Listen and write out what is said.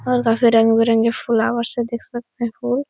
और काफी रंग बिरंगे फ्लावर्स हैं देख सकते हो।